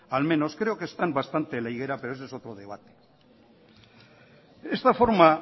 al menos creo que están bastante en la higuera pero ese es otro debate isiltasuna mesedez ez du amaituta